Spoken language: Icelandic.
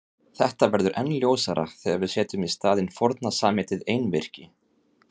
Þetta verður enn ljósara þegar við setjum í staðinn forna samheitið einvirki.